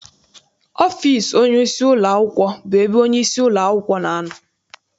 Ọfịịsi onyeisi ụlọakwụkwọ bụ ebe onyeisi ụlọakwụkwọ na-anọ.